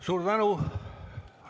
Suur tänu!